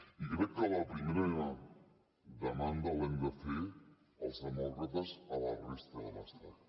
i crec que la primera demanda l’hem de fer els demòcrates a la resta de l’estat